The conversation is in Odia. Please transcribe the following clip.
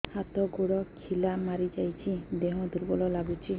ହାତ ଗୋଡ ଖିଲା ମାରିଯାଉଛି ଦେହ ଦୁର୍ବଳ ଲାଗୁଚି